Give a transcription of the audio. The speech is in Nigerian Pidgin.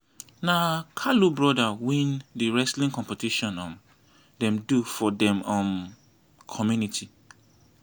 na kalu broda win the wrestling competition um dem do for dem um community